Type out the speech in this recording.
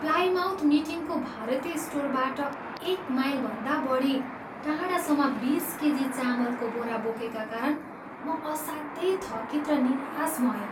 Plymouth मिटिङको भारतीय स्टोरबाट एक माइलभन्दा बढी टाढासम्म बिस केजी चामलको बोरा बोकेका कारण म असाध्यै थकित र निराश भएँ।